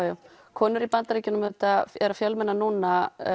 konur í Bandaríkjunum eru að fjölmenna núna